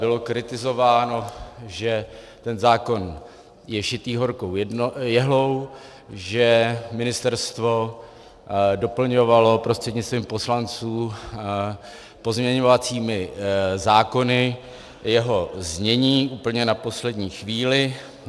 Bylo kritizováno, že ten zákon je šitý horkou jehlou, že ministerstvo doplňovalo prostřednictvím poslanců pozměňovacími návrhy jeho znění úplně na poslední chvíli.